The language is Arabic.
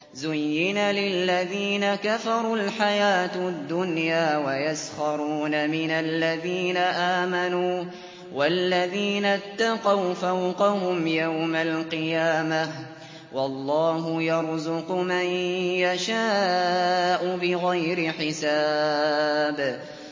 زُيِّنَ لِلَّذِينَ كَفَرُوا الْحَيَاةُ الدُّنْيَا وَيَسْخَرُونَ مِنَ الَّذِينَ آمَنُوا ۘ وَالَّذِينَ اتَّقَوْا فَوْقَهُمْ يَوْمَ الْقِيَامَةِ ۗ وَاللَّهُ يَرْزُقُ مَن يَشَاءُ بِغَيْرِ حِسَابٍ